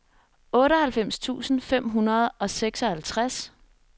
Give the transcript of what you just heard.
otteoghalvfems tusind fem hundrede og seksoghalvtreds